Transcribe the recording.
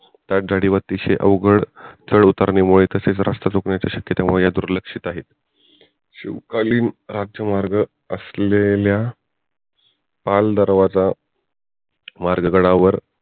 त्या गनीम अतिशय अवघड चढ उतारमुळे तसेच रस्ता चुकण्याच्या श्याक्यतेमुळे ह्या दुर्लक्षित आहेत. शिवकालीन राज्यमार्ग असलेल्या पाल दरवाजा मार्ग गडावर